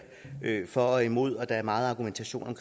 for og imod og der er meget argumentation om